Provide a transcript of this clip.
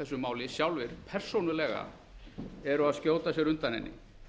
þessu máli sjálfir persónulega eru að skjóta sér undan henni